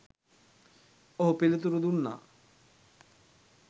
ඔහු පිළිතුරු දුන්නා